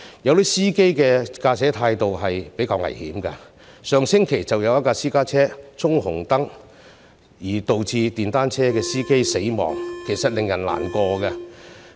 有些司機的駕駛態度也比較危險，上星期便有一輛私家車衝紅燈，導致電單車司機死亡，令人感到難過。